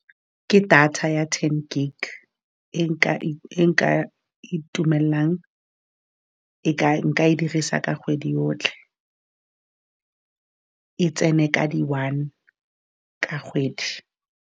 Ke data ya ten gig e nka itumelelang . E nka e dirisa ka kgwedi yotlhe, e tsene ka di one ka kgwedi.